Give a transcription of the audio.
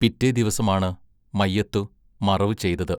പിറ്റേ ദിവസമാണ് മയ്യത്തു മറവു ചെയ്തത്.